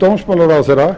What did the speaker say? dómsmálaráðherra